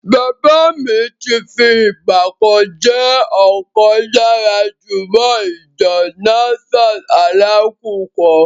Bàbá mi ti fi ìgbà kan jẹ́ ọ̀kan lára jọ̀mọ́ọ̀ ìjọ Nasfat Alákùkọ.